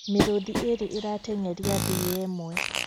Mĩrũthi ĩrĩ ĩrateng'eria thiya ĩmwe